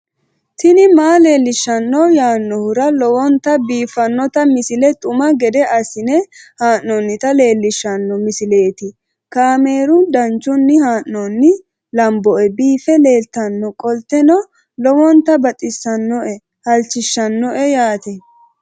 tini maa leelishshanno yaannohura lowonta biiffanota misile xuma gede assine haa'noonnita leellishshanno misileeti kaameru danchunni haa'noonni lamboe biiffe leeeltannoqolten lowonta baxissannoe halchishshanno yaate